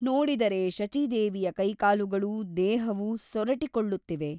ನೋಡಿದರೆ ಶಚೀದೇವಿಯ ಕೈಕಾಲುಗಳೂ ದೇಹವೂ ಸೊರಟಿಕೊಳ್ಳುತ್ತಿವೆ.